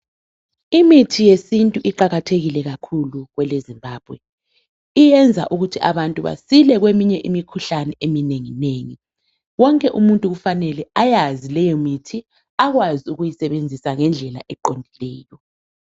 mithi yesintu iqhakathekile kakhulu kwele zimbabwe iyenza ukuba abantu basile kumkhuhlane eminengi nengi konke umuntu kufanele abeyazi lemithi abekwazi lokuyisebenzisa ngendlela eqondileyo